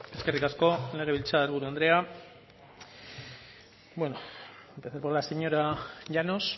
eskerrik asko legebiltzar buru andrea bueno empezaré por la señora llanos